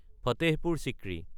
Fatehpur Sikri